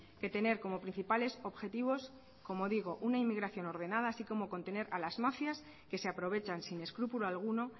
que tener como principales objetivos como digo una inmigración ordenada así como contener a las mafias que se aprovechan sin escrúpulo alguno